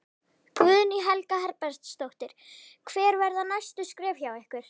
Guðný Helga Herbertsdóttir: Hver verða næstu skref hjá ykkur?